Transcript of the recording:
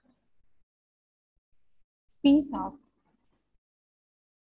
Pizza